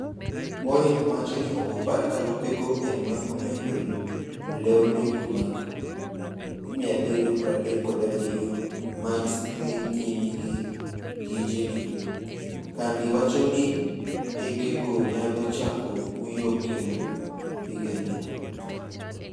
Boeing' wacho ni ok opar ka lopego emane omedo lew ndeke mag 737 Max dhi nyime gi tijege, kambi wacho ni ndekego nyalo chako uyo kendo higani.